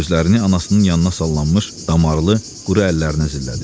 Gözlərini anasının yanına sallanmış, damarlı, quru əllərinə zillədi.